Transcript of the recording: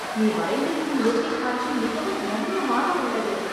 நீ வரைந்திருக்கும் இயற்கை காட்சி மிகவும் ரம்யமாக உள்ளது